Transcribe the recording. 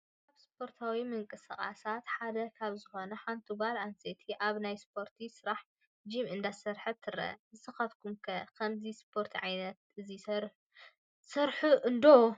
ካብ ስፖርታዊ ምንቅስቃሳት ሓደ ካብ ዝኾነ ሓንቲ ጓል ኣነስተይቲ ኣብ ናይ ስፖርት ስራሕቲ ጂም እንዳሰርሐት ትረአ፡፡ ንስኻትኩም ከ ከምዚ ስፖርት ዓይነት እዚ ትሰርሑ ዶ?